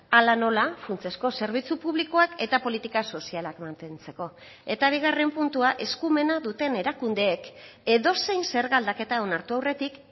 hala nola funtsezko zerbitzu publikoak eta politika sozialak mantentzeko eta bigarren puntua eskumena duten erakundeek edozein zerga aldaketa onartu aurretik